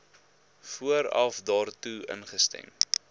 vooraf daartoe ingestem